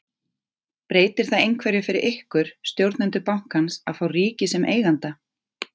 Breytir það einhverju fyrir ykkur, stjórnendur bankans að fá ríkið sem eiganda?